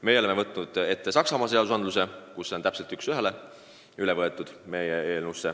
Meie oleme eeskujuks võtnud Saksamaa seaduse, mille regulatsioon on üks ühele meie eelnõusse üle võetud.